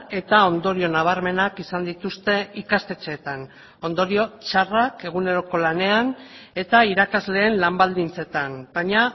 eta ondorio nabarmenak izan dituzte ikastetxeetan ondorio txarrak eguneroko lanean eta irakasleen lan baldintzetan baina